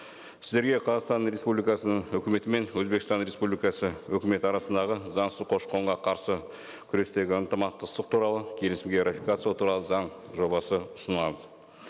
сіздерге қазақстан республикасының өкіметі мен өзбекстан репсубликасы өкіметі арасындағы заңсыз көші қонға қарсы күрестегі ынтымақтастық туралы келісімге ратификациялау туралы заң жобасы ұсынылады